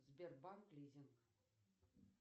сбербанк лизинг